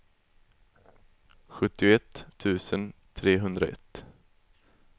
sjuttioett tusen trehundraett